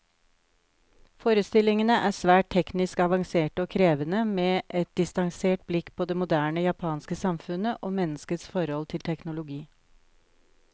Forestillingene er svært teknisk avanserte og krevende, med et distansert blikk på det moderne japanske samfunnet, og menneskets forhold til teknologi.